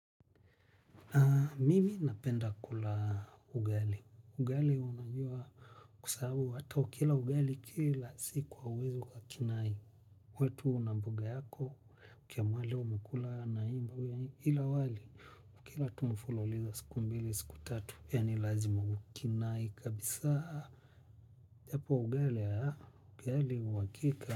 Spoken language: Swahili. Mimi napenda kula ugali. Ugali unajua kusahau hata ukila ugali kila siku hauwezi ukakinai. Uwe tu una mbuga yako, ukiamua leo umekula naimvue ila wali. Kila tu mufululiza siku mbili, siku tatu, yaani lazima ukinai kabisaa. Japo ugali haa, ugali uhakika.